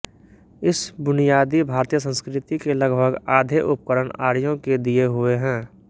इस बुनियादी भारतीय संस्कृति के लगभग आधे उपकरण आर्यों के दिए हुए हैं